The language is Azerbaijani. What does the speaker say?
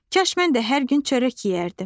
Kaş mən də hər gün çörək yeyərdim.